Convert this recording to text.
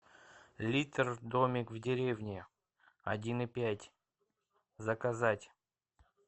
литр домик в деревне один и пять заказать